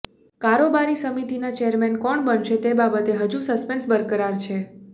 કારોબારી સમિતિના ચેરમેન કોણ બનશે તે બાબતે હજુ સસ્પેન્શ બરકરાર છે